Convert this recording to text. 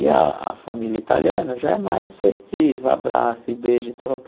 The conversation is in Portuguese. E a a família italiana já é mais festiva, abraça e, beija e tal tal